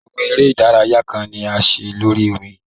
Awọn ere idaraya kan ni a ṣe lori omi